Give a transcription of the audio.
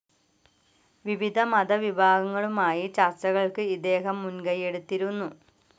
വിവിധ മത വിഭാഗങ്ങളുമായി ചർച്ചകൾക്ക് ഇദ്ദേഹം മുൻകൈ എടുത്തിരുന്നു.